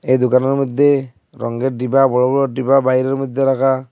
এই দুকানের মইধ্যে রঙ্গের ডিব্বা বড় বড় ডিব্বা বাইরের মইধ্যে রাখা--